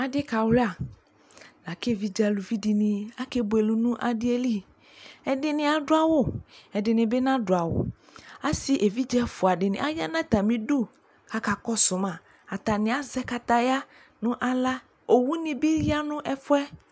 ɑɖikɑluɑ kévidzɛ ɑlωviɖiɲi ɑkɛbωɛlɛ ɲɑɖiɛli éɖiɲi ɑɖωwω ɛɖiɲibi ɲɑɗωɑwω ɑsi ɛviɖzɛ ɛfωɑɖi ɑyɑ ɲɑtɑmiɖω ɑkɑkɔṣωmɑ ɑtɑɲiɑ zɛkɑtɑyɑ ɲω ɑlɑ õwωɖibiƴɑ ɲɛfωɛ